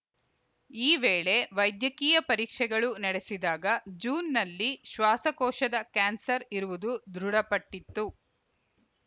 ಈ ವೇಳೆ ವೈದ್ಯಕೀಯ ಪರೀಕ್ಷೆಗಳು ನಡೆಸಿದಾಗ ಜೂನ್‌ನಲ್ಲಿ ಶ್ವಾಸಕೋಶದ ಕ್ಯಾನ್ಸರ್‌ ಇರುವುದು ದೃಢಪಟ್ಟಿತ್ತು